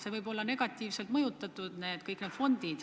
See võib olla negatiivselt mõjutatud.